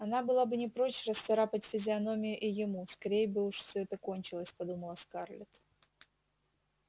она была бы не прочь расцарапать физиономию и ему скорей бы уж все это кончилось подумала скарлетт